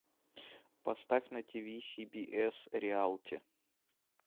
поставь на ти ви си би эс реалити